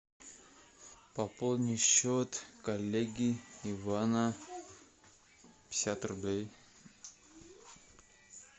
пополни счет коллеги ивана пятьдесят рублей